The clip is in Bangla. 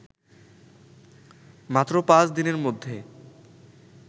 মাত্র পাঁচ দিনের মধ্যে